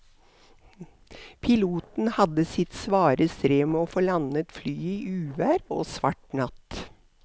Piloten hadde sitt svare strev med å få landet flyet i uvær og svart natt.